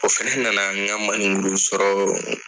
O fɛnɛ nana n ŋa manni nglon sɔrɔɔ